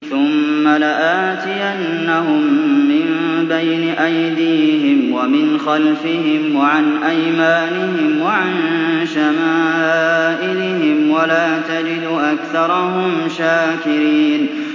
ثُمَّ لَآتِيَنَّهُم مِّن بَيْنِ أَيْدِيهِمْ وَمِنْ خَلْفِهِمْ وَعَنْ أَيْمَانِهِمْ وَعَن شَمَائِلِهِمْ ۖ وَلَا تَجِدُ أَكْثَرَهُمْ شَاكِرِينَ